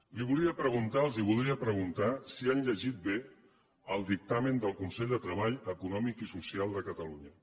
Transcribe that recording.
li volia preguntar els voldria preguntar si han llegit bé el dictamen del consell de treball econòmic i social de catalunya